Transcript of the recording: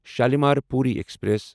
Shalimar Puri express